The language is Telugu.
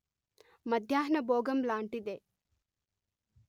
మధ్యాహ్న బోగం లాంటిదే